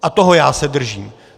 A toho já se držím!